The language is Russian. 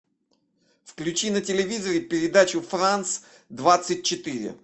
включи на телевизоре передачу франс двадцать четыре